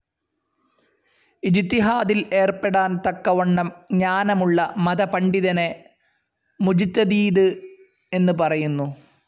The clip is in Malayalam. ഇജ്തിഹാദിൽ ഏർപ്പെടാൻ തക്കവണ്ണം ജ്ഞാനമുള്ള മത പണ്ഡിതനെ മുജ്തദീദ് എന്ന് പറയുന്നു.